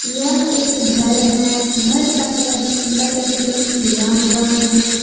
यह एक घर है घर का कलर पीला कलर से पेंट किया हुआ है।